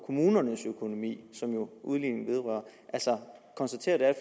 kommunernes økonomi som udligningen jo vedrører altså konstaterer at der er